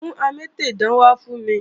Mú amétèdán wá fún mi!